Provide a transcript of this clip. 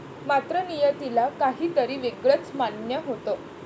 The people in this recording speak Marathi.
मात्र, नियतीला काहीतरी वेगळच मान्य होतं.